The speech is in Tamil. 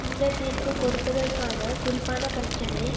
இந்த தீர்ப்பு கொடுப்பதற்கான குறிப்பான பிரச்சினை